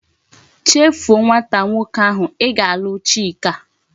Chefu o nwata nwoke ahu! I ga alu chika!